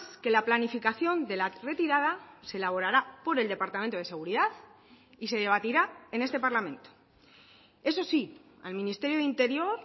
que la planificación de la retirada se elaborará por el departamento de seguridad y se debatirá en este parlamento eso sí al ministerio de interior